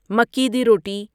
مکی دی روٹی